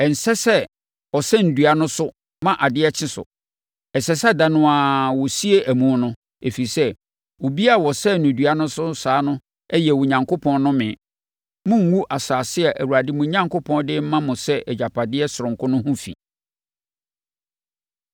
ɛnsɛ sɛ ɔsɛne dua no so ma adeɛ kye so. Ɛsɛ sɛ ɛda no ara, wɔsie amu no, ɛfiri sɛ, obiara a wɔsɛn no dua so saa no yɛ Onyankopɔn nnome. Monngu asase a Awurade, mo Onyankopɔn, de rema mo sɛ agyapadeɛ sononko no ho fi.